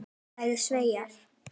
sagði Sævar.